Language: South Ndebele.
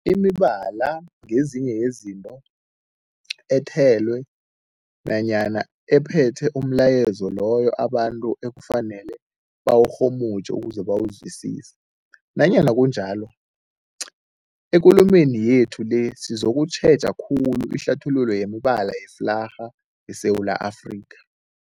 Imibala ngezinye zezinto ethelwe nanyana ephethe umlayezo loyo abantu ekufanele bawurhumutjhe ukuze bawuzwisise. Nanyana kunjalo, ekulumeni yethu le sizokutjheja khulu ihlathululo yemibala yeflarha yeSewula Afrika.